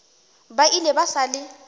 ba ile ba sa le